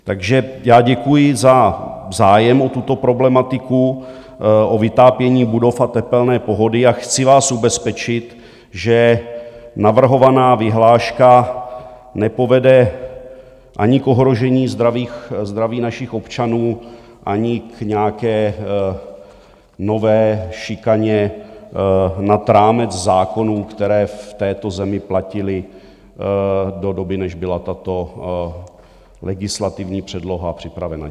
Takže já děkuji za zájem o tuto problematiku o vytápění budov a tepelné pohody a chci vás ubezpečit, že navrhovaná vyhláška nepovede ani k ohrožení zdraví našich občanů, ani k nějaké nové šikaně nad rámec zákonů, které v této zemi platily do doby, než byla tato legislativní předloha připravena.